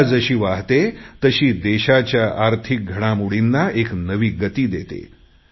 गंगा जशी वाहते तशी देशाच्या आर्थिक घडामोडींना एक नवी गती देते